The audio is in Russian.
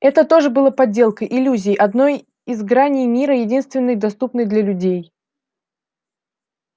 это тоже было подделкой иллюзией одной из граней мира единственной доступной для людей